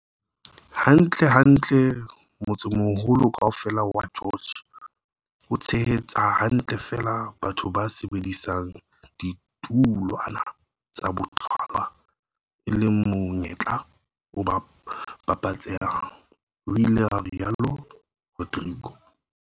"Hantlentle, motsemoholo kaofela wa George o tshehetsa hantle feela batho ba sebedisang ditulwana tsa boqhwala, e leng monyetla o babatsehang," ho ile ha rialo Rodrique.